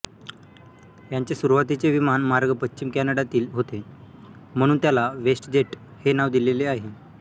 यांचे सुरवातीचे विमान मार्ग पश्चिम कॅनडातील होते म्हणून त्याला वेस्टजेट हे नाव दिलेले आहे